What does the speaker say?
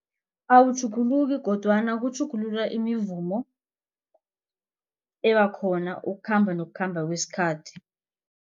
Awutjhuguluki kodwana kutjhugulula imivumo ebakhona ukukhamba nokukhamba kwesikhathi.